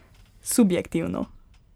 Subjektivno.